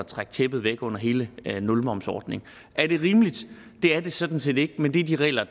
trække tæppet væk under hele nulmomsordningen er det rimeligt det er det sådan set ikke men det er de regler